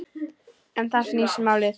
Um það snýst málið.